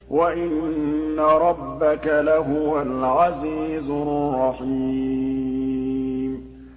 وَإِنَّ رَبَّكَ لَهُوَ الْعَزِيزُ الرَّحِيمُ